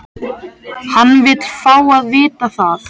Hann vill fá að vita það.